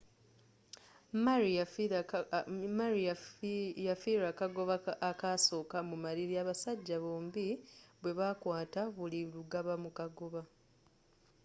murray yafiirwa akagoba ak'asooka mu maliri abasajja bombi bwe baakwaata buli lugabamu kagoba